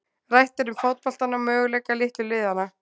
Rætt er um fótboltann og möguleika litlu liðanna.